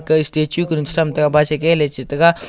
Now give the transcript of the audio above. gaga statue ley che tega.